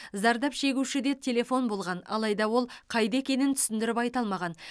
зардап шегушіде телефон болған алайда ол қайда екенін түсіндіріп айта алмаған